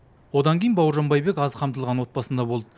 одан кейін бауыржан байбек аз қамтылған отбасында болды